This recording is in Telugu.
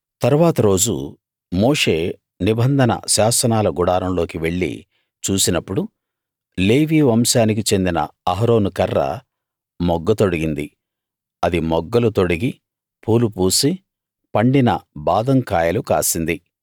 తరువాత రోజు మోషే నిబంధన శాసనాల గుడారంలోకి వెళ్లి చూసినప్పుడు లేవీ వంశానికి చెందిన అహరోను కర్ర మొగ్గ తొడిగి ఉంది అది మొగ్గలు తొడిగి పూలు పూసి పండిన బాదం కాయలు కాసింది